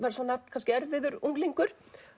kannski erfiður unglingur